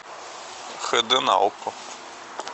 хэ дэ на окко